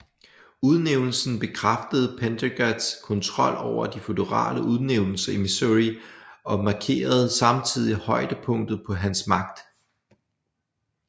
Udnævnelsen bekræftede Pendergasts kontrol over de føderale udnævnelser i Missouri og markerede samtidig højdepunktet på hans magt